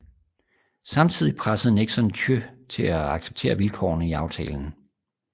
Samtidig pressede Nixon Thieu til at acceptere vilkårene i aftalen